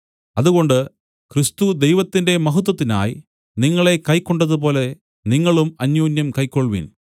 അതുകൊണ്ട് ക്രിസ്തു ദൈവത്തിന്റെ മഹത്വത്തിനായി നിങ്ങളെ കൈക്കൊണ്ടതുപോലെ നിങ്ങളും അന്യോന്യം കൈക്കൊൾവിൻ